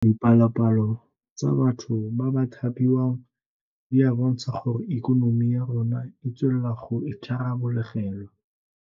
Dipalopalo tsa batho ba ba thapiwang di a bontsha gore ikonomi ya rona e tswelela go itharabologelwa.